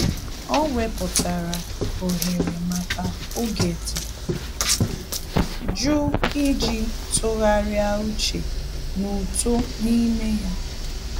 Ọ́ wèpụ̀tárà ohere màkà oge dị́ jụụ iji tụ́gharị́a úchè na uto ime ya.